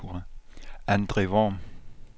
Andre Worm